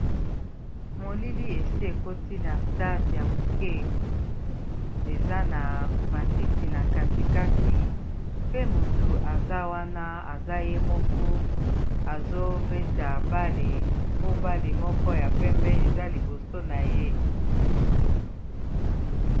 molili esi ekoti na stade ya moke eza na matiti na katikati pe motu aza wana aza ye moko azobeta bale po bale moko ya pembe eza liboso na ye